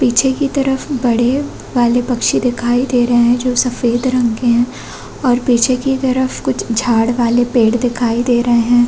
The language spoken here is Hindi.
पीछे की तरफ बड़े वाले पंछी दिखाई दे रहै है जो सफ़ेद रंग के है और पीछे की तरफ कुछ झाड़ वाले पेड़ दिखाई दे रहै है।